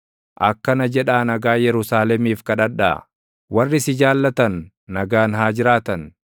Akkana jedhaa nagaa Yerusaalemiif kadhadhaa: “Warri si jaallatan nagaan haa jiraatan.